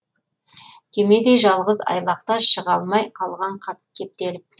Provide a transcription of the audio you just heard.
кемедей жалғыз айлақта шыға алмай қалған кептеліп